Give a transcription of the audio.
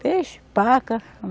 Peixe, paca.